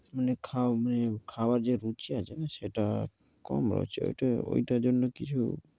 খাও মে খাওয়ার যে রুচি আসে না, সেটা কম রয়েছে। ওটা ঐটার জন্য কিছু